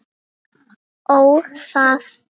Ó, það!